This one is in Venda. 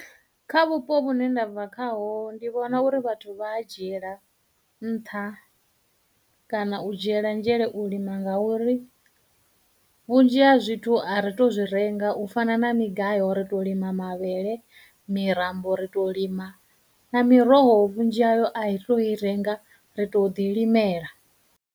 Kha vhupo vhune nda bva khaho ndi vhona uri vhathu vha a dzhiela nṱha kana u dzhiela nzhele u lima ngauri vhunzhi ha zwithu a ri tou zwi renga u fana na migayo ri to lima mavhele, mitambo ri tou lima, na miroho vhunzhi hayo a ri tou i renga ri tou ḓi limela.